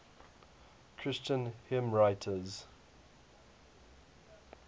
christian hymnwriters